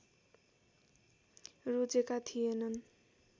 रोजेका थिएनन्